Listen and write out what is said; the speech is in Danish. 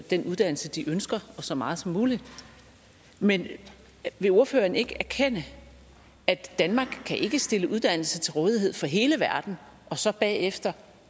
den uddannelse de ønsker og så meget som muligt men vil ordføreren ikke erkende at danmark kan stille uddannelse til rådighed for hele verden og så bagefter